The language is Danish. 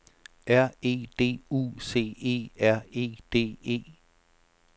R E D U C E R E D E